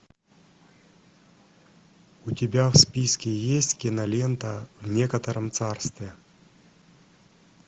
у тебя в списке есть кинолента в некотором царстве